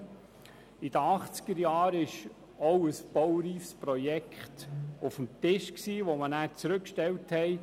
In den 1980er-Jahren lag auch ein baureifes Projekt auf dem Tisch, das man damals zurückgestellte.